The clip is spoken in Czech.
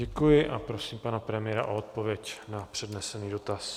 Děkuji a prosím pana premiéra o odpověď na přednesený dotaz.